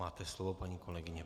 Máte slovo, paní kolegyně.